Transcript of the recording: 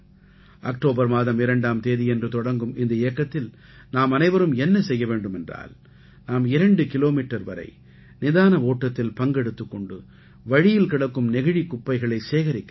October மாதம் 2ஆம் தேதியன்று தொடங்கும் இந்த இயக்கத்தில் நாம் அனைவரும் என்ன செய்ய வேண்டும் என்றால் நாம் 2 கிலோமீட்டர் வரை நிதான ஓட்டத்தில் பங்கெடுத்துக் கொண்டு வழியில் கிடக்கும் நெகிழிக் குப்பைகளை சேகரிக்க வேண்டும்